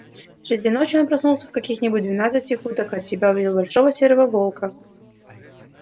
среди ночи он проснулся и в каких нибудь двенадцати футах от себя увидел большого серого волка